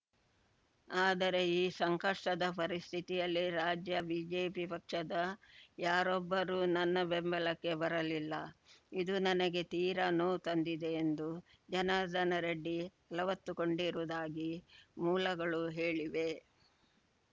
ಆದರೆ ಈ ಸಂಕಷ್ಟದ ಪರಿಸ್ಥಿತಿಯಲ್ಲಿ ರಾಜ್ಯ ಬಿಜೆಪಿ ಪಕ್ಷದ ಯಾರೊಬ್ಬರೂ ನನ್ನ ಬೆಂಬಲಕ್ಕೆ ಬರಲಿಲ್ಲ ಇದು ನನಗೆ ತೀರಾ ನೋವು ತಂದಿದೆ ಎಂದು ಜನಾರ್ದನ ರೆಡ್ಡಿ ಅಲವತ್ತುಕೊಂಡಿರುವುದಾಗಿ ಮೂಲಗಳು ಹೇಳಿವೆ